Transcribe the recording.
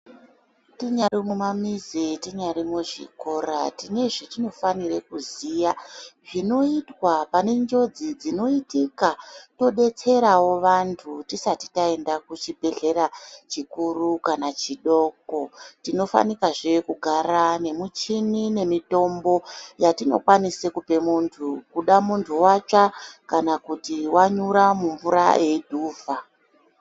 Tinyari mumamizi, tinyari muzvikora, tine zvetinofanire kuziya zvinoitwa pane njodzi dzinoitika, todetserawo vantu tisati taenda kuchibhedhlera chikuru kana chidoko. Tinofanikazve kugara nemuchini nemitombo yatinokwanisa kupe muntu, kuda muntu watsva kana kuti wanyura mumvura eidhuvha.